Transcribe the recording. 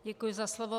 Děkuji za slovo.